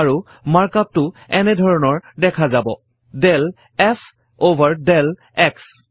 আৰু markup টো এনে ধৰণৰ দেখা যাব del f অভাৰ del x